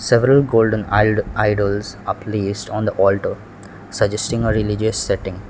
several golden id idols are placed on the alter suggesting a religious setting.